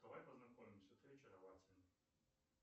давай познакомимся ты очаровательна